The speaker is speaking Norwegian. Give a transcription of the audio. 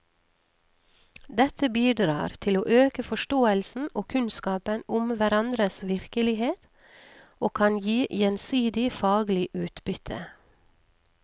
Dette bidrar til å øke forståelsen og kunnskapen om hverandres virkelighet og kan gi gjensidig faglig utbytte.